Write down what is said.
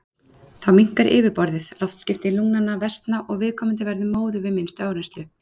Þá minnkar yfirborðið, loftskipti lungnanna versna og viðkomandi verður móður við minnstu áreynslu.